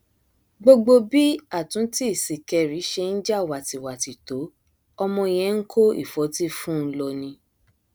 gbogbo bí àtúntì sìkẹrì ṣe ń ja wátìwátì tó ọmọ yẹn ń kó ìfọtí fún un lọ ni